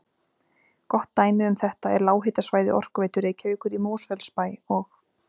Gott dæmi um þetta er lághitasvæði Orkuveitu Reykjavíkur í Mosfellsbæ og